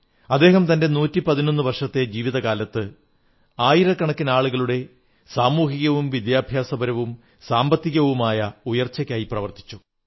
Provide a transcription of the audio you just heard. അദ്ദേഹം തന്റെ 111 വർഷത്തെ ജീവിതകാലത്ത് ആയിരക്കണക്കിന് ആളുകളുടെ സാമൂഹികവും വിദ്യാഭ്യാസപരവും സാമ്പത്തികവുമായ ഉയർച്ചയ്ക്കായി പ്രവർത്തിച്ചു